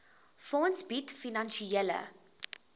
fonds bied finansiële